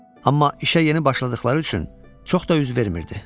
Amma işə yeni başladıqları üçün çox da üz vermirdi.